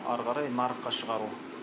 ары қарай нарыққа шығару